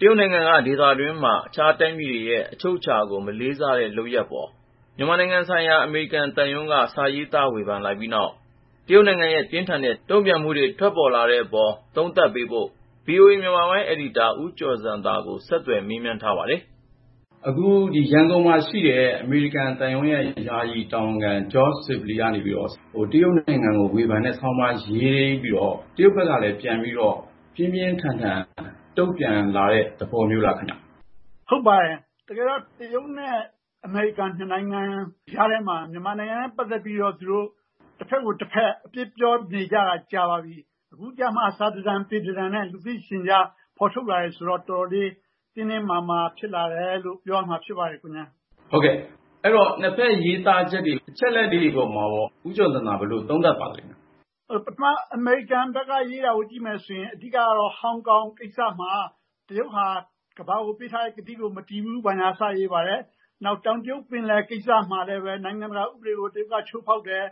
တရုတ်နိုင်ငံဟာ မြန်မာနဲ့ ဒေသတွင်းနိုင်ငံတွေရဲ့ အချုပ်အခြာကို မလေးမစား လုပ်နေတယ်ဆိုပြီး မြန်မာနိုင်ငံဆိုင်ရာ အမေရိကန်သံရုံးရဲ့ ရေးသားချက်အပေါ် တရုတ်သံရုံးက ပြင်းထန်စွာ တုံ့ပြန်လိုက်ပြီးနောက် ဒေသတွင်း ဖြစ်လာနိုင်မယ့် အကျိုးဆက်တွေ သုံးသပ်ဖို့ ဗွီအိုအေ မြန်မာပိုင်းအယ်ဒီတာ ဦးကျော်ဇံသာနဲ့ ကိုဉာဏ်ဝင်းအောင်က မေးမြန်းထားပါတယ်။ ရန်ကုန်မှာရှိတဲ့ အမေရိကန်သံရုံး ယာယီတာဝန်ခံ George Sibley ကနေပြီး တရုတ်နိုင်ငံကို ဝေဖန်တဲ့ဆောင်းပါး ရေးလိုက်ပြီးနောက်မှာ တရုတ်ဘက်ကလည်း ပြင်းပြင်းထန်ထန် တုံ့ပြန်လာတဲ့ သဘောများလားခင်ဗျ။ “ဟုတ်ပါတယ်၊ တကယ်တော့ တရုတ်နဲ့ အမေရိကန် နှစ်နိုင်ငံကြားထဲမှာ မြန်မာနိုင်ငံနဲ့ ပတ်သက်ပြီးတော့ သူတို့ တဖက်ကိုတဖက် အပြစ်ပြောနေကြတာ ကြာပါပြီ။ အခုကျမှ စာတတန်ပေတတန်နဲ့ လူသိရှင်ကြား ထုတ်ပြောလာတယ်ဆိုတော့ တော်တော်လေး တင်းတင်းမာမာ ဖြစ်လာတယ်လို့ ပြောရမှာဖြစ်ပါတယ်။” အဲဒီတော့ နှစ်ဖက်ရေးသားကြတဲ့ အချက်အလက်တွေ အပေါ်မှာ ဦးကျော်ဇံသာ ဘယ်လိုသုံးသပ်ပါသလဲ။ “အမေရိကန်ဘက်က ရေးတာကို ပထမကြည့်မယ်ဆိုရင် အဓိကကတော့ ဟောင်ကောင်ကိစ္စမှာ တရုတ်ဟာ ကမ္ဘာကို ပေးထားတဲ့ကတိကို မတည်ဘူး ဘာညာ စရေးပါတယ်။ နောက် တောင်တရုတ်ပင်လယ် ကိစ္စမှာလည်းပဲ နိုင်ငံတကာဥပဒေကို တရုတ်က ချိုးဖောက်တယ်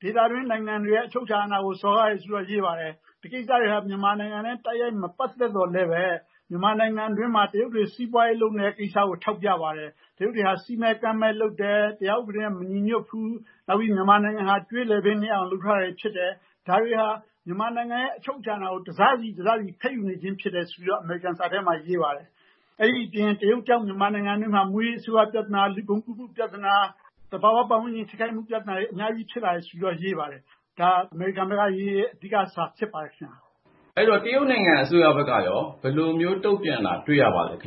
။ ဒေသတွင်းနိုင်ငံတွေရဲ့ အချုပ်အခြာ အာဏာကို စော်ကားတယ် ဆိုပြီးတော့ ရေးပါတယ်။ ဒီကိစ္စတွေဟာ မြန်မာနိုင်ငံနဲ့ တိုက်ရိုက်မပတ်သက်သော်လည်းပဲ မြန်မာနိုင်ငံတွင်းမှာ တရုတ်တွေ စီးပွားရေးလုပ်နေတဲ့ကိစ္စကို ထောက်ပြပါတယ်။ တရုတ်တွေဟာ စည်းမဲ့ကမ်းမဲ့လုပ်တယ်၊ တရားဥပဒေနဲ့ မညီညွတ်ဘူး၊ နောက်ပြီး မြန်မာနိုင်ငံကို ကြွေးလည်ပင်းနစ်အောင် လုပ်ထားတာဖြစ်တယ်။ ဒါတွေဟာ မြန်မာနိုင်ငံရဲ့ အချုပ်အခြာအာဏာကို တစစီ တစစီ ဖဲ့ယူနေခြင်းဖြစ်တယ် ဆိုပြီးတော့ အမေရိကန်ရဲ့စာထဲမှာ ရေးပါတယ်။ အဲဒါအပြင် တရုတ်ကြောင့် မြန်မာနိုင်ငံအတွင်းမှာ မူးယစ်ဆေးဝါးပြဿနာ၊ လူကုန်ကူးမှုပြဿနာ၊ သဘာဝ ပတ်ဝန်းကျင်ထိခိုက်မှု ပြဿနာတွေ အများကြီးဖြစ်လာတယ် ဆိုပြီးတော့ ရေးပါတယ်။ ဒါဟာ အမေရိကန်ဘက်ကရေးတဲ့ အဓိကစာ ဖြစ်ပါတယ်ခင်ဗျာ။” အဲဒီတော့ တရုတ်နိုင်ငံဘက်ကရော ဘယ်လိုမျိုးတုံ့ပြန်တာ တွေ့ရပါသလဲ။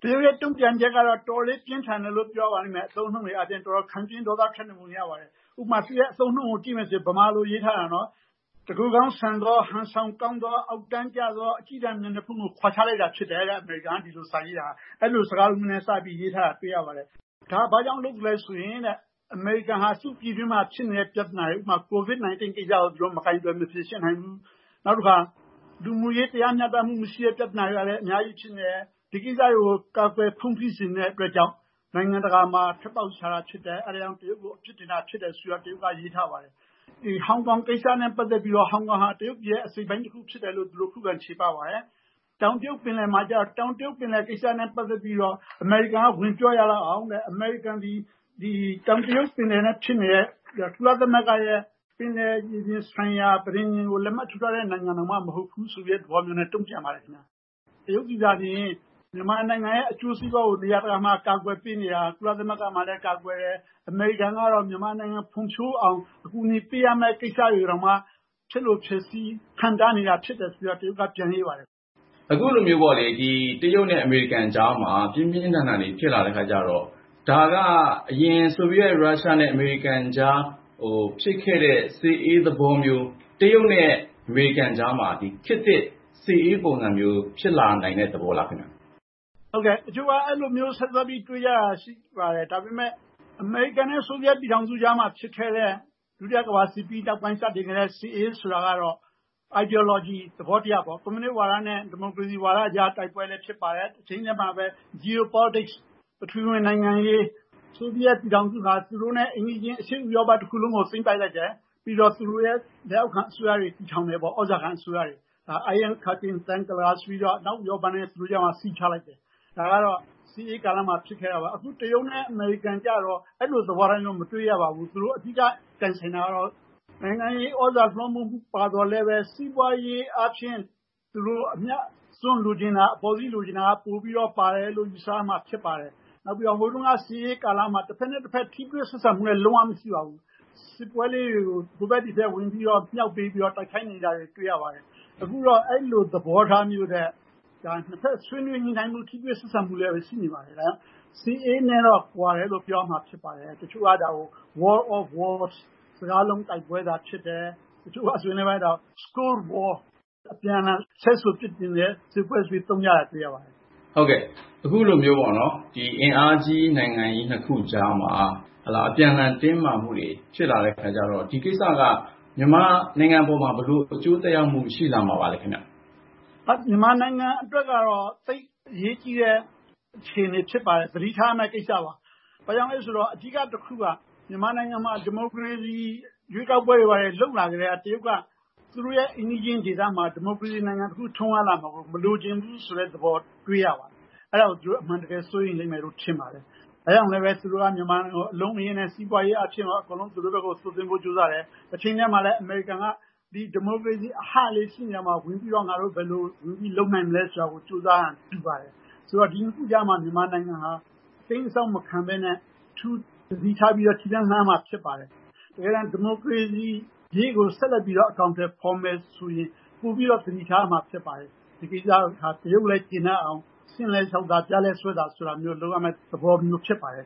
“တရုတ်ရဲ့ တုံ့ပြန်ချက်ကတော့ အတော်လေး ပြင်းထန်တယ်လို့ ပြောရပါလိမ့်မယ်။ အသုံးနှုန်းတွေကိုကြည့်ရင် တော်တော်လေး ခံပြင်း ဒေါသထွက်နေပုံ ရပါတယ်။ ဥပမာ သူတို့ ဗမာလိုရေးထားတဲ့ အသုံးနှုန်းတွေကို ကြည့်မယ်ဆိုရင် အမေရိကန်က ဒီလိုစာရေးတာဟာ တကိုယ်ကောင်းဆန်သော၊ ဟန်ဆောင်ကောင်းသော၊ အောက်တန်းကျသော အကျည်းတန် မျက်နှာဖုံးကို ခွာချလိုက်တာဖြစ်တယ် ဆိုပြီး အဲဒီလို စကားလုံးမျိုးနဲ့ စပြီးရေးထားတာ တွေ့ရပါတယ်။ ဒါဟာ ဘာကြောင့်လုပ်သလဲဆိုရင်တဲ့ အမေရိကန်ဟာ သူ့ပြည်တွင်းမှာ ဖြစ်နေတဲ့ ပြဿနာတွေ ဥပမာ COVID-19 ကိစ္စကို သူတို့ မကိုင်တွယ် မဖြေရှင်းနိုင်ဘူး၊ နောက်တခါ လူမှုရေး တရားမျှတမှုမရှိတဲ့ ပြဿနာတွေကလည်း အများကြီးဖြစ်နေတယ်။ ဒီကိစ္စတွေကို ကာကွယ်ဖုံးဖိချင်တဲ့ အတွက်ကြောင့် နိုင်ငံတကာမှာ ထွက်ပေါက်ရှာတာ ဖြစ်တယ်။ အဲဒါကြောင့် တရုတ်ကို အပြစ်တင်တာ ဖြစ်တယ်ဆိုပြီး တရုတ်က ရေးထားပါတယ်။ “တခါ ဟောင်ကောင်ကိစ္စနဲ့ ပတ်သက်ပြီးတော့ ဟောင်ကောင်ဟာ တရုတ်ရဲ့ အစိတ်အပိုင်းတခု ဖြစ်တယ်လို့ သူတို့ ခုခံ ချေပပါတယ်။ တောင်တရုတ်ပင်လယ်ကိစ္စနဲ့ ပတ်သက်ပြီးတော့ အမေရိကန်က ဝင်ပြောရလောက်အောင်တဲ့ အမေရိကန်သည် ဒီ တောင်တရုတ်ပင်လယ်နဲ့ ဖြစ်နေတဲ့ ကုလသမဂ္ဂရဲ့ ပင်လယ်ပြင်ဆိုင်ရာ ပဋိဉာဉ်ကို လက်မှတ်ထိုးထားတဲ့ နိုင်ငံတောင်မှ မဟုတ်ဘူးဆိုတဲ့ သဘောမျိုးနဲ့ တုံ့ပြန်ပါတယ်ခင်ဗျ။ “တရုတ်သည်သာလျှင် မြန်မာနိုင်ငံရဲ့ အကျိုးစီးပွားကို နေရာတကာမှာ အကာကွယ်ပေးနေတာ ဖြစ်တဲ့အကြောင်း၊ ကုလသမဂ္ဂမှာလည်း ကာကွယ်ပေးတယ်၊ အမေရိကန်ကတော့ မြန်မာနိုင်ငံ ဖွံ့ဖြိုးရေးအတွက် အကူအညီပေးရမယ့် ကိစ္စတွေကိုတောင်မှ ဖျက်လိုဖျက်ဆီး ဟန့်တားနေတာဖြစ်တယ် ဆိုပြီးတော့ တရုတ်ဘက်က ပြန်ရေးပါတယ်။” အခုလိုမျိုးပေါ့လေ တရုတ်နဲ့ အမေရိကန်ကြားမှာ ပြင်းပြင်းထန်ထန်တွေ ဖြစ်လာတဲ့အခါကျတော့ ဒါက အရင် ဆိုဗီယက်-ရုရှားနဲ့ အမေရိကန်ကြား ဖြစ်ခဲ့တဲ့ စစ်အေးသဘောမျိုး၊ တရုတ်နဲ့ အမေရိကန်ကြားမှာ ခေတ်သစ် စစ်အေးပုံစံမျိုး ဖြစ်လာနိုင်တဲ့ သဘောလားခင်ဗျ။ “ဟုတ်ကဲ့၊ တချို့က အဲဒါမျိုး ဆက်စပ်ပြီး တွေးကြတာ ရှိပါတယ်။ ဒါပေမယ့် အမေရိကန်နဲ့ ဆိုဗီယက်ပြည်ထောင်စုကြားမှာ ဖြစ်ခဲ့တဲ့ ဒုတိယကမ္ဘာစစ်ပြီးနောက်ပိုင်း စတင်ခဲ့တဲ့ စစ်အေး ဆိုတာကတော့ Ideology သဘောတရားပေ့ါ။ ကွန်မြူနစ်ဝါဒနဲ့ ဒီမိုကရေစီဝါဒကြား တိုက်ပွဲလည်း ဖြစ်ပါတယ်။ တချိန်တည်းမှာပဲ Geo-politics ပထဝီဝင် နိုင်ငံရေးအရ ဆိုဗီယက်ပြည်ထောင်စုဟာ သူတို့နဲ့အိမ်နီးချင်း အရှေ့ဥရောပတခုလုံးကို သိမ်းပိုက်လိုက်တယ်။ ပြီးတော့ သူတို့ရဲ့ လက်အောက်ခံ အစိုးရတွေ တည်ထောင်တယ်ပေါ့၊ သြဇာခံအစိုးရတွေ။ Iron Curtain ဆိုပြီးတော့ အနောက်ဥရောပနဲ့ သူတို့ကြားမှာ စည်းခြားလိုက်တယ်။ ဒါကတော့ စစ်အေးကာလမှာ ဖြစ်ခဲ့တာပေါ့။ “အခု တရုတ်နဲ့ အမေရိကန်ကျတော့ အဲလိုသဘောထားမျိုး မတွေ့ရပါဘူး။ သူတို့ အဓိကပြိုင်ချင်တာကတော့ နိုင်ငံရေးသြဇာလွှမ်းမိုးမှု ပါသော်လည်းပဲ စီးပွားရေးအားဖြင့် အမြတ်အစွန်းလိုချင်ကြတာ၊ အပေါ်စီးရချင်ကြတာ ပိုပြီးတော့ ပါတယ်လို့ ယူဆရမှာ ဖြစ်ပါတယ်။ နောက်ပြီးတော့ ဟိုတုန်းက စစ်အေးကာလမှာ တဖက်နဲ့တဖက် ထိတွေ့ဆက်ဆံမှု လုံးဝမရှိပါဘူး။ စစ်ပွဲလေးတွေကို ဟိုဘက်ဒီဘက် ဝင်မြှောက်ပေးပြီးတော့ တိုက်ခိုင်းခဲ့တာမျိုး တွေ့ရပါတယ်။ အခုတော့ အဲဒီလို သဘောထားမျိုးထက် ဒါ နှစ်ဖက် ဆွေးနွေးညှိနှိုင်းမှု ထိတွေ့ဆက်ဆံမှုတွေလည်း ရှိနေကြတော့ စစ်အေးနဲ့တော့ ကွာတယ်လို့ ပြောရမှာ ဖြစ်ပါတယ်။ တချို့က ဒါကို War of Words စကားလုံးတိုက်ပွဲသာ ဖြစ်တယ်၊ တချို့ကဆိုရင်လည်းပဲ ဒါကို Scold War အပြန်လှန် ဆဲဆိုပြစ်တင်နေတဲ့ စစ်ပွဲဆိုပြီး သုံးကြတာ တွေ့ရပါတယ်။” ဒီလိုမျိုး အင်အားကြီးနိုင်ငံကြီး နှစ်ခုကြားမှာ အပြန်လှန် တင်းမာမှုတွေ ဖြစ်လာတဲ့အခါကျတော့ ဒီကိစ္စက မြန်မာနိုင်ငံအပေါ်မှာ ဘယ်လို အကျိုးသက်ရောက်မှု ဖြစ်လာမှာပါလဲ ခင်ဗျ။ မြန်မာနိုင်ငံအတွက်ကတော့ သိပ်အရေးကြီးတဲ့ အခြေအနေ ဖြစ်ပါတယ်။ သတိထားရမယ့်ကိစ္စပါ။ ဘာကြောင့်လဲဆိုတော့ အဓိကတခုက မြန်မာနိုင်ငံမှာ ဒီမိုကရေစီ ရွေးကောက်ပွဲတွေ လုပ်လာကတည်းက တရုတ်က သူတို့ရဲ့ အိမ်နီးချင်းဒေသမှာ ဒီမိုကရေစီနိုင်ငံတခု ထွန်းကားလာမှာကို မလိုလားတဲ့သဘော တွေ့ရပါတယ်။ အဲဒါကို သူတို့ အမှန်တကယ် စိုးရိမ်လိမ့်မယ်လို့ ထင်ပါတယ်။ ဒါကြောင့်လည်းပဲ သူတို့က မြန်မာနိုင်ငံကို အလုံးအရင်းနဲ့ စီးပွားရေးအားဖြင့်ရော အကုန်လုံး သူတို့ဘက်ကို သွတ်သွင်းဖို့ ကြိုးစားလာတယ်။ တချိန်တည်းမှာပဲ အမေရိကန်က ဒီ ဒီမိုကရေစီအဟလေး ရှိနေတဲ့နေရာမှာ ငါတို့ ဘယ်လိုဝင်ပြီးတော့ လုပ်နိုင်မလဲ ဆိုတာကို ကြိုးစားဟန် တူပါတယ်။ ဆိုတော့ ဒီနှစ်ခုကြားမှာ မြန်မာနိုင်ငံဟာ အတိမ်းအစောင်း မခံဘဲနဲ့ အထူးသတိထားပြီး ခြေလှမ်း လှမ်းရမှာ ဖြစ်ပါတယ်။ တကယ်တမ်း ဒီမိုကရေစီရေးကို ဆက်လက်ပြီး အကောင်ထည်ဖော်မယ်ဆိုရင် ပိုပြီးတော့ သတိထားရမှာ ဖြစ်ပါတယ်။ ဒီကိစ္စမှာ တရုတ်ကလည်း ကျေနပ်အောင် ရှဉ့်လည်းလျှောက်သာ ပျားလည်းစွဲသာ ဆိုတာမျိုး လုပ်ရမယ့်သဘောမျိုး ဖြစ်ပါတယ်